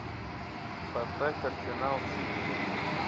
поставь арсенал сити